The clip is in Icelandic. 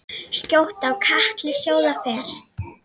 Skjótt á katli sjóða fer.